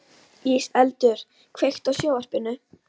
Íseldur, kveiktu á sjónvarpinu.